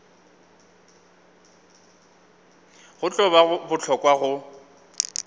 go tlo ba bohlokwa go